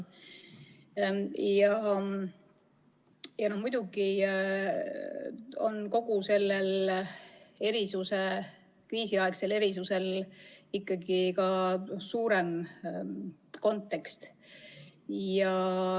Muidugi on kogu sellel kriisiaegsel erisusel ka suurem kontekst.